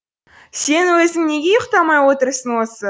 сен өзің неге ұйықтамай отырсың осы